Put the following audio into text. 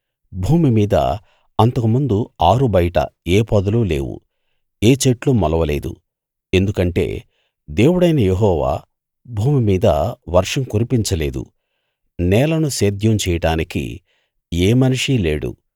భూమి మీద అంతకుముందు ఆరుబయట ఏ పొదలూ లేవు ఏ చెట్లూ మొలవలేదు ఎందుకంటే దేవుడైన యెహోవా భూమి మీద వర్షం కురిపించ లేదు నేలను సేద్యం చెయ్యడానికి ఏ మనిషీ లేడు